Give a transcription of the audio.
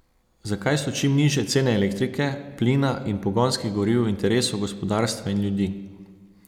Zakaj so čim nižje cene elektrike, plina in pogonskih goriv v interesu gospodarstva in ljudi?